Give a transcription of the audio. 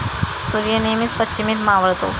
सूर्य नेहमीच पश्चिमेत मावळतो.